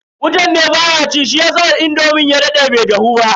Wutan ne baya ci shiyasa indomin ya dade a wuta.